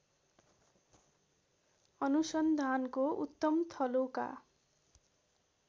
अनुसन्धानको उत्तम थलोका